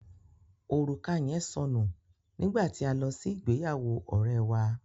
Orùka yẹn sọ nù nígbà tí a lọ sí ìgbéyàwó ọ̀rẹ́ wà.